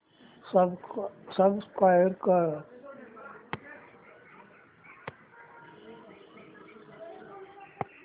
subscribe कर